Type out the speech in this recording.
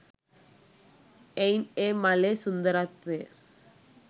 එයින් ඒ මලේ සුන්දරත්වය